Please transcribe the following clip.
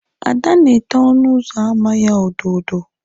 Ada na ete ọnụ ụzọ ámá ya odo odo.